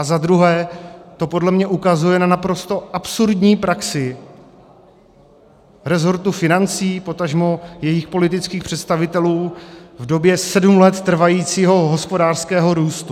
A za druhé to podle mě ukazuje na naprosto absurdní praxi rezortu financí, potažmo jejich politických představitelů v době sedm let trvajícího hospodářského růstu.